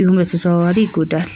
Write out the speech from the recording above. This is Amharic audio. ይሁን በተዘዋዋሪ ይጎዳል።